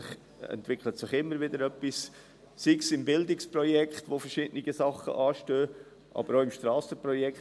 Es entwickelt sich immer wieder etwas, sei es beim Bildungsprojekt, bei dem verschiedene Dinge anstehen, aber auch beim Strassenprojekt.